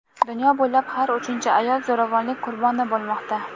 Dunyo bo‘ylab har uchinchi ayol zo‘ravonlik "qurboni" bo‘lmoqda.